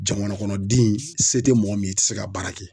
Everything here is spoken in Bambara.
Jamana kɔnɔ den se te mɔgɔ min ye i ti se k'a baara kɛ.